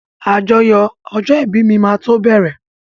Àjọyọ̀ ọjọ́ ìbí mi máa tó bẹ̀rẹ̀.